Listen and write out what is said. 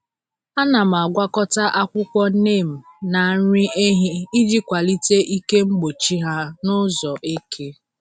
Ana m agwakọta akwụkwọ neem na nri ehi iji kwalite ike mgbochi ha n’ụzọ eke.